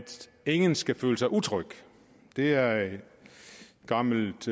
ingen skal føle sig utryg det er et gammelt